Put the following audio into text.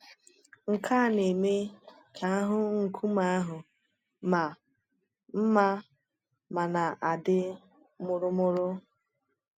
Nke à na-eme ka ahụ nkume àhụ maa mmā ma na-adị mụrụmụrụ.